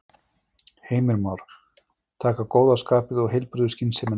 Heimir Már: Taka góða skapið og heilbrigðu skynsemina með?